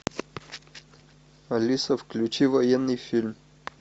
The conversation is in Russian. алиса включи военный фильм